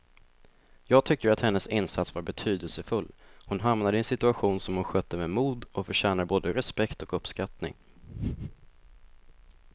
Jag tycker att hennes insats var betydelsefull, hon hamnade i en situation som hon skötte med mod och förtjänar både respekt och uppskattning.